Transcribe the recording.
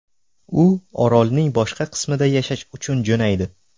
U orolning boshqa qismida yashash uchun jo‘naydi.